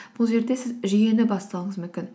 бұл жерде сіз жүйені бастауыңыз мүмкін